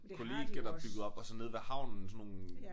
Kollegier der bygget op og sådan nede ved havnen sådan nogle